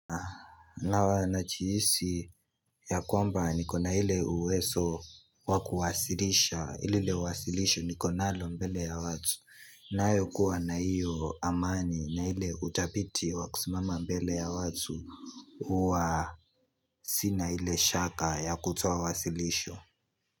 Na najihisi ya kwamba nikona hile uwezo wakuwasilisha lile wasilisho nikonalo mbele ya watu na ayo kuwa na hiyo amani na ile utapiti wakusimama mbele ya watu wa sina hile shaka ya kutoa wasilisho.